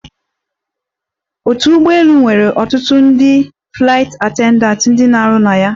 Ọdụ ụgbọelu nwere ọtụtụ ndị flaịt attendatị ndị na-arụ na ya.